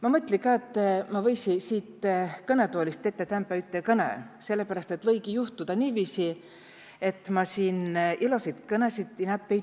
Ma mõtli ka, et ma võisi siit kõnetoolist tetä täänpä üte kõne, sellepäräst et võigi juhtuda niiviisi, et ma siin illosit kõnesid inämb ei piä.